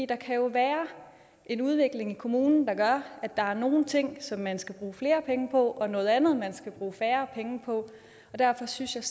der kan jo være en udvikling i kommunen der gør at der er nogle ting som man skal bruge flere penge på og noget andet man skal bruge færre penge på og derfor synes jeg